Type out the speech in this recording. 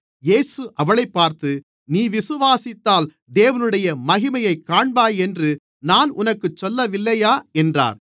இயேசு அவளைப் பார்த்து நீ விசுவாசித்தால் தேவனுடைய மகிமையைக் காண்பாய் என்று நான் உனக்குச் சொல்லவில்லையா என்றார்